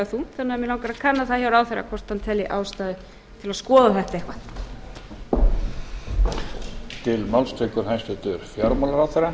þungt mig langar því að kanna það hjá ráðherra hvort hann telji ástæðu til að skoða þetta eitthvað